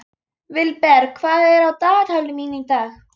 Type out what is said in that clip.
Vilberg, hvað er á dagatalinu mínu í dag?